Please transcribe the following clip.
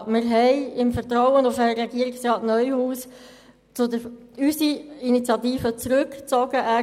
Wir haben unsere Initiative im Vertrauen auf Regierungsrat Neuhaus zurückgezogen.